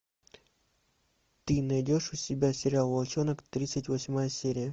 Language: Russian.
ты найдешь у себя сериал волчонок тридцать восьмая серия